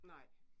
Nej